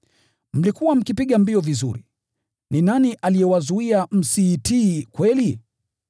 Mlikuwa mkipiga mbio vizuri. Ni nani aliyewazuia msiitii kweli?